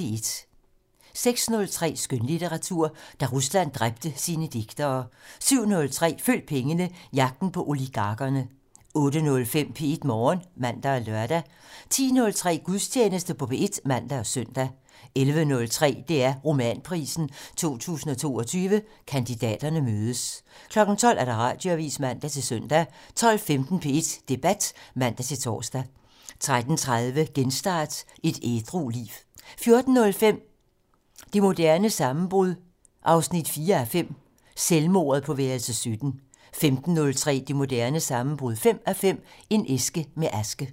06:03: Skønlitteratur: Da Rusland dræbte sine digtere 07:03: Følg pengene: Jagten på oligarkerne 08:05: P1 Morgen (man og lør) 10:03: Gudstjeneste på P1 (man og søn) 11:03: DR Romanprisen 2022 - Kandidaterne mødes 12:00: Radioavisen (man-søn) 12:15: P1 Debat (man-tor) 13:30: Genstart: Et ædru liv 14:05: Det moderne sammenbrud 4:5 - Selvmordet på værelse 17 15:03: Det moderne sammenbrud 5:5 - En æske med aske